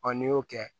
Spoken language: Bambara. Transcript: n'i y'o kɛ